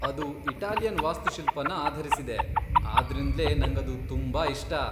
ಅದು ಇಟಾಲಿಯನ್ ವಾಸ್ತುಶಿಲ್ಪನ ಆಧರಿಸಿದೆ, ಆದ್ರಿಂದ್ಲೇ ನಂಗದು ತುಂಬಾ ಇಷ್ಟ.